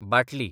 बाटली